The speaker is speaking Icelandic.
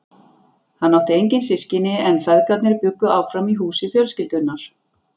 Hann átti engin systkini en feðgarnir bjuggu áfram í húsi fjölskyldunnar.